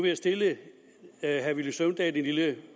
jeg stille herre villy søvndal en lille